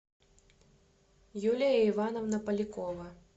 юлия ивановна полякова